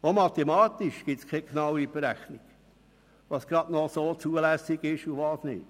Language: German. Auch mathematisch gibt es keine genaue Berechnung, was gerade noch so zulässig ist und was nicht.